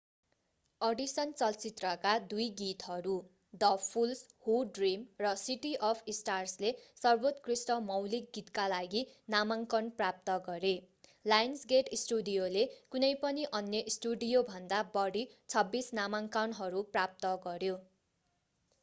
Addition चलचित्रका दुई गीतहरू द फूल्स हू ड्रीम र सिटी अफ स्टार्सले सर्वोत्कृष्ट मौलिक गीतका लागि नामाङ्‍कन प्राप्त गरे। लायन्सगेट स्टुडियोले कुनै पनि अन्य स्टुडियोभन्दा बढी 26 नामाङ्कनहरू प्राप्त गर्‍यो।